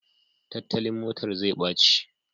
Tattalin motar zai ɓaci